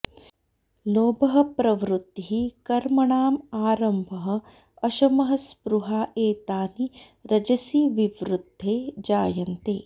लोभः प्रवृत्तिः कर्मणाम् आरम्भः अशमः स्पृहा एतानि रजसि विवृद्धे जायन्ते